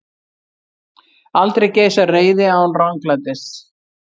Aldrei geisar reiði án ranglætis.